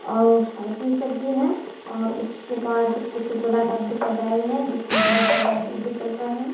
और साइकिल सभ भी है और उसके बाद कुछ गोला टाइप के सजाए हुए हैं जिसमें बहोत सारे लाइट वाइट जल रहे हैं।